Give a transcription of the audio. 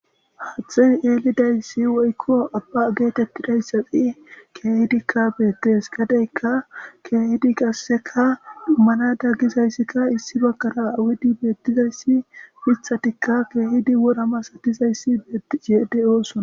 Hathey elidaysi woykon abba getetizaysi qase kehidika beteseGadeyka kehidi qaseka dhumada gizaysika issi bagara awanada gidi betizaysi mithatika kehidi wora masatizaysi betishe de'osona